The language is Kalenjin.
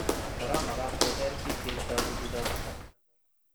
Kora makat keser bik cheibtoi tukuk choto